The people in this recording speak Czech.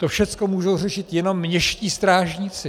To všecko můžou řešit jenom městští strážníci.